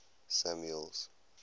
samuel's